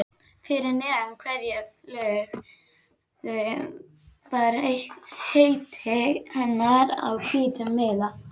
Fyrir neðan hverja flugu var heiti hennar á hvítum miða.